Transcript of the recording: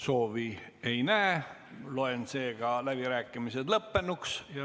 Soovi ei näe, loen seega läbirääkimised lõppenuks.